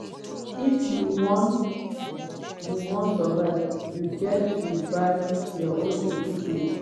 if you wan you wan survive you get to buy your own equipment.”